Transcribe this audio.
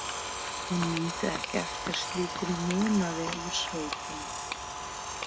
Hún mundi ekki eftir slíkum munaði úr sveitinni.